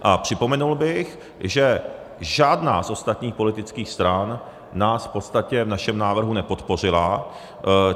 A připomenul bych, že žádná z ostatních politických stran nás v podstatě v našem návrhu nepodpořila.